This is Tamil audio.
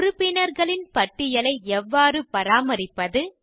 உறுப்பினர்களின் பட்டியலை எவ்வாறு பராமரிப்பது